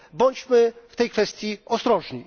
Bądźmy w tej kwestii ostrożni.